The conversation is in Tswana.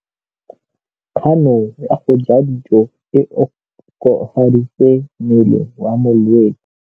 Kganô ya go ja dijo e koafaditse mmele wa molwetse.